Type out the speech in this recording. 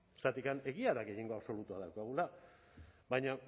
zergatik egia da gehiengo absolutua daukagula baina